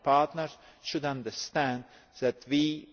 to us. Our partners should understand that we